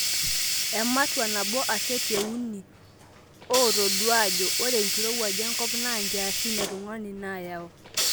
Ematua nabo ake te uni ootodua ajo ore enkirowuaj enkop naa nkiasin e tungani naayau.